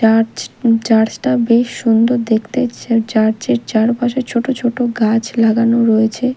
Church church -টা বেশ সুন্দর দেখতে চার্চ -এর চারপাশে ছোট ছোট গাছ লাগানো রয়েছে।